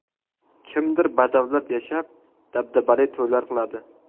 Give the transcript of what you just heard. Kimdir badavlat yashab, dabdabali to‘ylar qiladi.